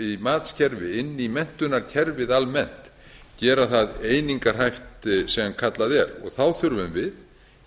inn í menntunarkerfið almennt gera það einingahæft sem kallað er